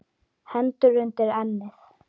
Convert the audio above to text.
Hendur undir ennið.